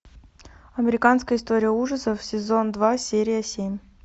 американская история ужасов сезон два серия семь